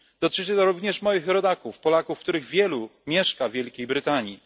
Dotyczy to również moich rodaków, Polaków, których wielu mieszka w Wielkiej Brytanii.